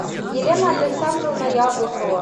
елена александровна яблокова